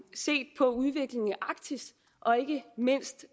set på udviklingen i arktis og ikke mindst